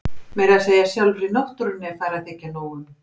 Meira að segja sjálfri náttúrunni er farið að þykja nóg um.